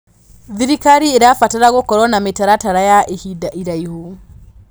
Thirikari ĩrabatara gũkorwo na mĩtaratara ya ihinda iraihu.